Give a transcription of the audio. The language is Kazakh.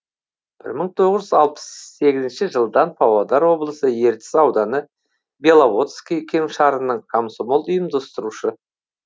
бір мың тоғыз жүз алпыс сегізінші жылдан павлодар облысы ертіс ауданы беловодский кеңшарының комсомол ұйымдастырушы